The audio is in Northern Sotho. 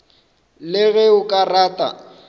le ge o ka rata